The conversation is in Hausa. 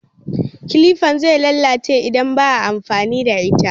Kilifan zai lalace idan baa amfani da ita